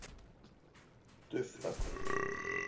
Dufþakur